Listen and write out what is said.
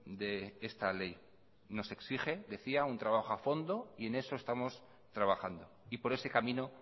de esta ley nos exige decía un trabajo a fondo y en eso estamos trabajando y por ese camino